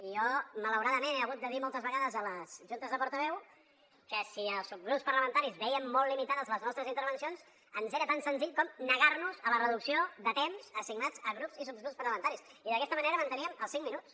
i jo malauradament he hagut de dir moltes vegades a les juntes de portaveus que si els subgrups parlamentaris vèiem molt limitades les nostres intervencions ens era tan senzill com negar nos a la reducció de temps assignat a grups i subgrups parlamentaris i d’aquesta manera manteníem els cinc minuts